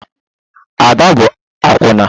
Ada bụ akwụna